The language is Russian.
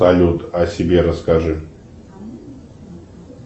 салют о себе расскажи